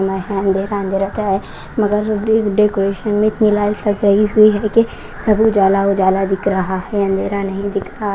में है अंधेरा अंधेरा छाया मगर ड डेकोरेशन में इतनी लाइट लगाई हुई है कि सब उजाला उजाला दिख रहा है अंधेरा नहीं दिख रहा।